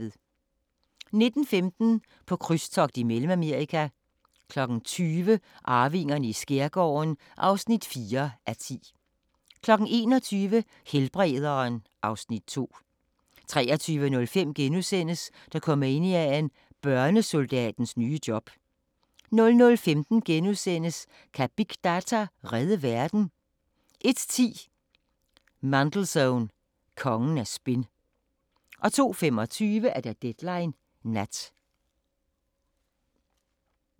19:15: På krydstogt i Mellemamerika 20:00: Arvingerne i skærgården (4:10) 21:00: Helbrederen (Afs. 2) 23:05: Dokumania: Børnesoldatens nye job * 00:15: Kan big data redde verden? * 01:10: Mandelson – kongen af spin 02:25: Deadline Nat